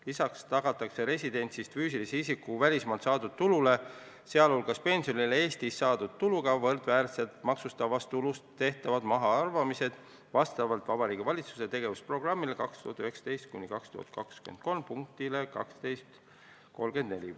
Lisaks tagatakse residendist füüsilise isiku välismaalt saadud tulule, sh pensionile, Eestis saadud tuluga võrdväärsed maksustatavast tulust tehtavad mahaarvamised vastavalt Vabariigi Valitsuse tegevusprogrammi 2019–2023 punktile 12.34.